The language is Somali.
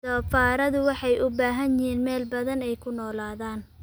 Doofaarradu waxay u baahan yihiin meel badan oo ay ku noolaadaan.